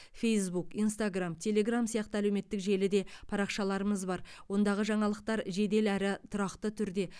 фейсбук инстаграмм телеграмм сияқты әлеуметтік желіде парақшаларымыз бар ондағы жаңалықтар жедел әрі тұрақты түрде